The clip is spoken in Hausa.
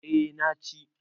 eh na ci